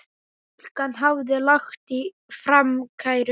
Stúlkan hafði lagt fram kæru.